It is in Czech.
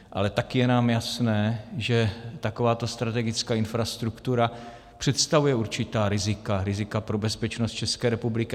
Ale taky je nám jasné, že takováto strategická infrastruktura představuje určitá rizika, rizika pro bezpečnost České republiky.